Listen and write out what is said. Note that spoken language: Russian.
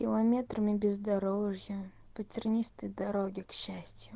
километрами бездорожья по тернистой дороге к счастью